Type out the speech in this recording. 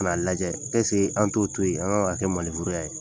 kan'a lajɛ an t'o to yen an k'a kɛ ye